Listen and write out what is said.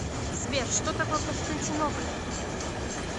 сбер что такое константинополь